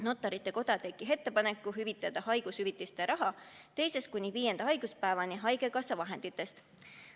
Notarite Koda tegi ettepaneku, et haigushüvitiste raha teisest kuni viienda haiguspäevani makstaks haigekassa vahenditest.